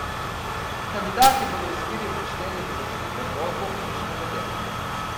Kandidati bodo o izbiri obveščeni v zakonitem roku, je še navedeno.